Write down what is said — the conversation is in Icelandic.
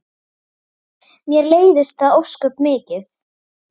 Mér leiðist það ósköp mikið.